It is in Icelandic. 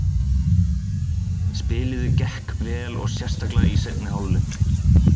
Spiliði gekk vel og sérstaklega í seinni hálfleik.